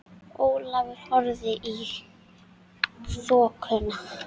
Ólafur horfði í þokuna.